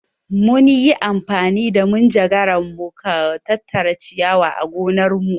Mun yi amfani da manjagara mu ka tattara ciyawa a gonarmu.